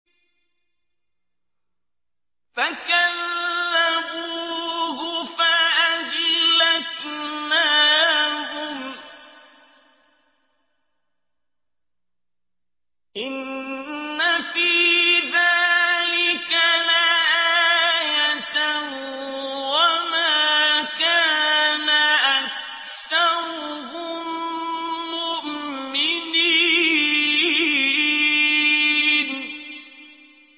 فَكَذَّبُوهُ فَأَهْلَكْنَاهُمْ ۗ إِنَّ فِي ذَٰلِكَ لَآيَةً ۖ وَمَا كَانَ أَكْثَرُهُم مُّؤْمِنِينَ